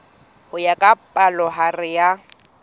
ho ya ka palohare ya